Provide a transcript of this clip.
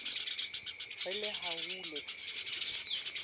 re le ha ho le